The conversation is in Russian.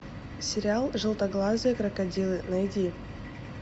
сериал желтоглазые крокодилы найди